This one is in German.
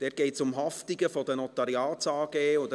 Dort geht es um Haftungen der Notariats-AG und